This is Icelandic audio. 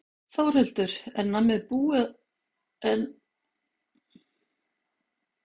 Þórhildur: Er nammið búið að vera búið í mörgum búðum?